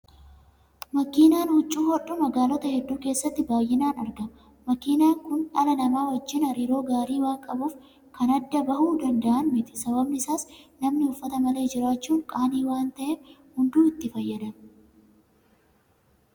Makiinaan huccuu hodhu magaalota hedduu keessatti baay'inaan argama. Makiinaan kun dhala namaa wajjin hariiroo gaarii waan qabuuf kan addaan bahuu danda'an miti. Sababni isaas namni uffata malee jiraachuun qaanii waan ta'eef hunduu itti fayyadama.